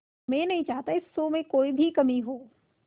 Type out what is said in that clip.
मैं नहीं चाहता इस शो में कोई भी कमी हो